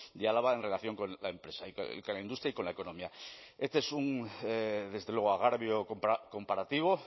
de álava en relación con la empresa y con la industria y con la economía este es un agravio comparativo